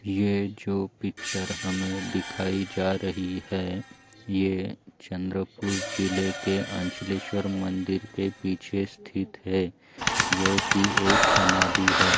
ये जो पिक्चर हमे दिखाई जा रही है ये चंद्रपुर जिल्हे के अंचलेश्वर मंदिर के पिछे स्थित है जो की एक समादी है।